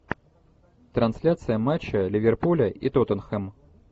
трансляция матча ливерпуля и тоттенхэма